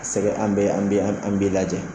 Ka sɛgɛ an bɛ an bɛ i lajɛ.